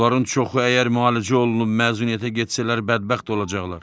Buların çoxu əgər müalicə olunub məzuniyyətə getsələr bədbəxt olacaqlar.